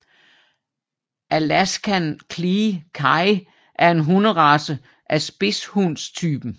Alaskan Klee Kai er en hunderace af spidshundetypen